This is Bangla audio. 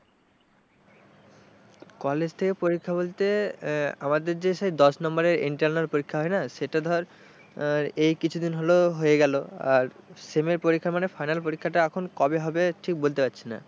কলেজ থেকে পরীক্ষা বলতে আমাদের যে সেই দশ নম্বরের internal পরীক্ষা হয় না সেটা ধর এই কিছুদিন হলেও হয়ে গেল আর sem এর পরীক্ষা মানে final পরীক্ষাটা এখন কবে হবে ঠিক বলতে পারছি না,